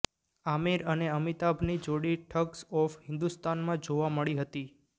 આમિર અને અમિતાભની જોડી ઠગ્સ ઓફ હિન્દોસ્તાનમાં જોવા મળી હતી